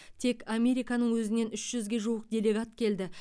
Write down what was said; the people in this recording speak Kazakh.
тек американың өзінен үш жүзге жуық делегат келді